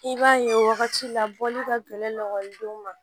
I b'a ye wagati la bɔli ka gɛlɛn ekɔlidenw ma